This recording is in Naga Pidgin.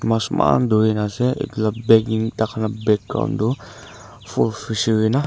mas eman duri na ase etu la backing taikan la background tu full fishery na.